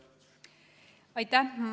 Aitäh!